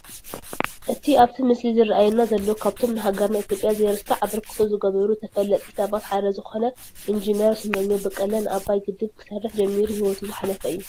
እቲ ኣብቲ ምስሊ ዝራኣየና ዘሎ ካብቶም ንሃገርና ኢትዮጵያ ዘይርሳዕ ኣበርክቶ ዝገበሩ ተፈለጥቲ ሰባት ሓደ ዝኾነ እንጂነር ስመኘው በቀለ ንኣባይ ግድብ ክሰርሕ ጀሚሩ ሂወቱ ዝሓለፈ እዩ፡፡